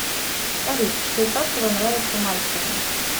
салют что из сладкого нравится мальцеву